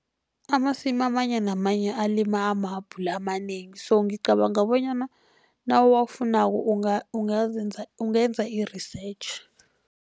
Amasimu amanye namanye alima amahabhula amanengi, so ngicabanga bonyana nawuwafunako ungenza i-research.